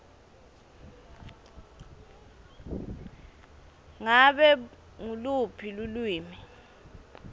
ngabe nguluphi lulwimi